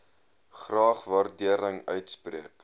graag waardering uitspreek